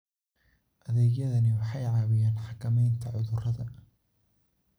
Adeegyadani waxay caawiyaan xakamaynta cudurrada.